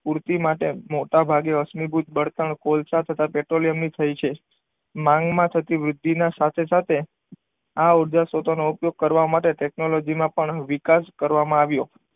પૂરતી માટે મોટાભાગે અશ્મિભૂત બળતણ કોલસા તથા પેટ્રોલિયમની થઈ છે. માંગમાં થતી વૃદ્ધિના સાથે સાથે આ ઉર્જા સ્ત્રોતો નો ઉપયોગ કરવા માટે ટેકનોલોજીમાં પણ વિકાસ કરવામાં આવ્યો.